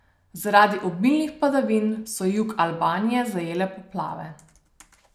Zaradi obilnih padavin so jug Albanije zajele poplave.